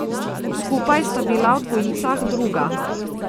Skupaj sta bila v dvojicah druga.